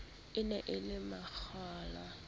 e ne e le makgowa